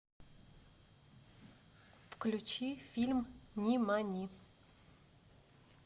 включи фильм нимани